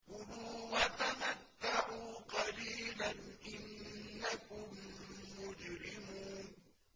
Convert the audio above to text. كُلُوا وَتَمَتَّعُوا قَلِيلًا إِنَّكُم مُّجْرِمُونَ